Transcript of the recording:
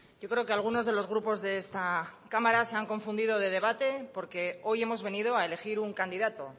yo creo que algunos de los grupos de esta cámara se han confundido de debate porque hoy hemos venido a elegir un candidato